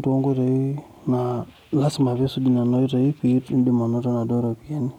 toonkoitoi naa lasima pee isuj nena oitoi pee indim anoto Nena ropiyiani.